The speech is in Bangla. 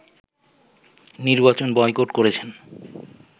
নির্বাচন বয়কট করেছেন